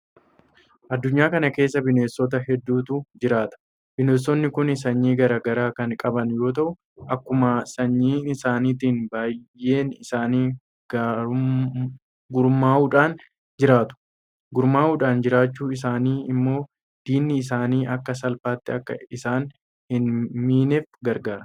Addunyaa kana keessa bineensota hedduutu jiraata. Bineensonni kun sanyii garaa garaa kan qaban yoo ta'u; Akkuma sanyii isaaniitti baay'een isaanii gurmuudhaan jiraatu. Gurmuudhaan jiraachuun isaanii immoo diinni isaanii akka salphaatti akka isaan hin miineef gargaara.